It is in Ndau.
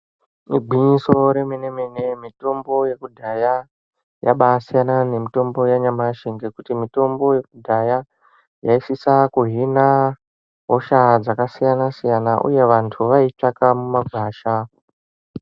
Igwinyiso remene-mene, mitombo yekudhaya yabasiyana nemitombo yanyamashi ngekuti mitombo yekudhaya yaisisa kuhina hosha dzakasiyana-siyana uye vantu vaiitsvaka mumagwasha.